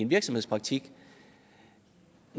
virksomhedspraktik